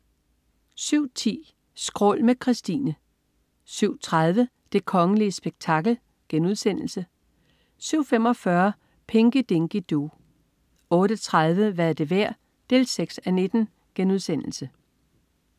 07.10 Skrål med Kristine 07.30 Det kongelige spektakel* 07.45 Pinky Dinky Doo 08.30 Hvad er det værd? 6:19*